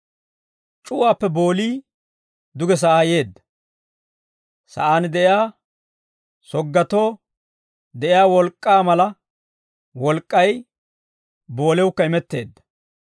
C'uwaappe boolii duge sa'aa yeedda. Sa'aan de'iyaa soggatoo de'iyaa wolk'k'aa mala wolk'k'ay boolewukka imetteedda.